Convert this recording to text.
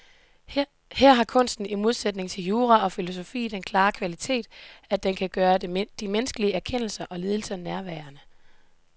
Her har kunsten i modsætning til jura og filosofi den klare kvalitet, at den kan gøre de menneskelige erkendelser og lidelser nærværende.